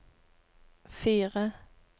fire